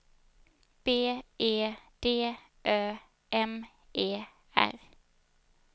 B E D Ö M E R